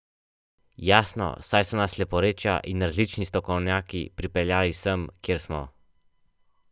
Jasno, saj so nas leporečja in različni strokovnjaki pripeljali sem, kjer smo.